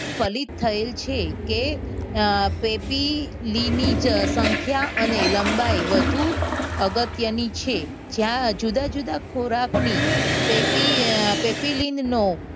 ફલિત થયેલ છે. કે અમ પેપી લીનીજ સંખ્યા અને લંબાઈ વધુ અગત્યની છે. જ્યાં જુદા જુદા ખોરાકની પેપીલીન નો